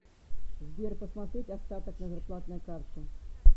сбер посмотреть остаток на зарплатной карте